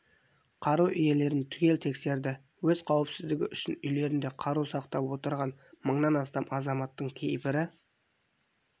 қару иелерін түгел тексерді өз қауіпсіздігі үшін үйлерінде қару сақтап отырған мыңнан астам азаматтың кейбірі